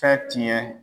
Fɛn tiɲɛ